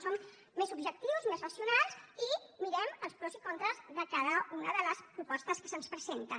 som més objectius més racionals i mirem els pros i contres de cada una de les propostes que se’ns presenten